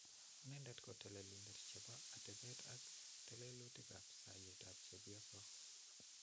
Nendet ko telelindetab chebo atebeet ak tetutiikab soyeetab chebyosook.